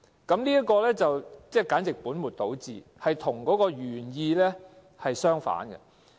這項措施簡直是本末倒置，跟原意相反。